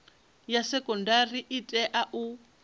ya sekondari i tea u